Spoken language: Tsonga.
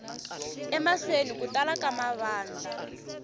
emahlweni ku tala ka mavandla